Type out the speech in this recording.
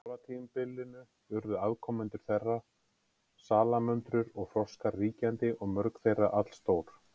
Á kolatímabilinu urðu afkomendur þeirra, salamöndrur og froskar, ríkjandi og mörg þeirra allstór.